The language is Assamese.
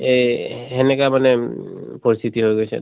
এহ হেনেকা মানে উম পৰস্তিতি হৈ গৈছে।